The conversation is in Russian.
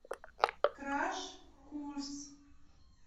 краш курс